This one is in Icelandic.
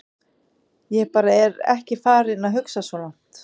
Ég bara er ekki farinn að hugsa svo langt.